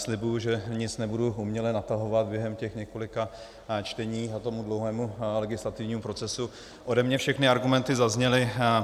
Slibuji, že nic nebudu uměle natahovat, během těch několika čtení a toho dlouhého legislativního procesu ode mne všechny argumenty zazněly.